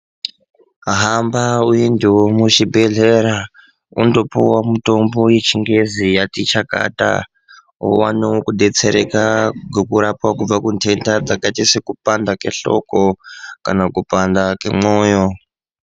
Hamba uyende muzvibhedhlera, undopiwa mutombo yechingezi yatichakata, uwane kudetsereka ngokurapwa kubva kundeda dzakati sekupanda kwenhloko kana kupanda kwemwoyo.